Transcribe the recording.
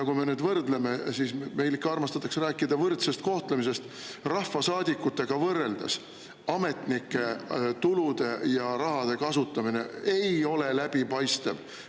Kui me nüüd võrdleme – meil ikka armastatakse rääkida võrdsest kohtlemisest –, siis rahvasaadikutega võrreldes ei ole ametnike tulude ja raha kasutamine läbipaistev.